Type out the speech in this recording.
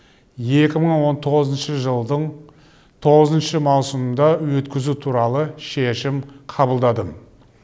екі мың он тоғызыншы жылдың тоғызыншы маусымында өткізу туралы шешім қабылдадым